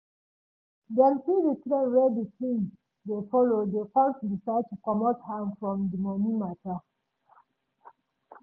dem see the trend wey the thing dey follow dey con decide to comot hand from the money matter